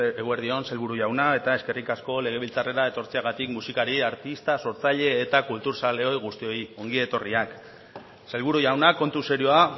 eguerdi on sailburu jauna eta eskerrik asko legebiltzarrera etortzeagatik musikari artista sortzaile eta kultur zale guztioi ongi etorriak sailburu jauna kontu serioa